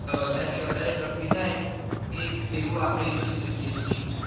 હવે વધારે ને વધારે પ્રગતિ થાત એવું આપડે ઇચ્છિ શકીએ છીએ.